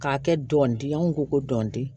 K'a kɛ dɔnden an ko ko dɔni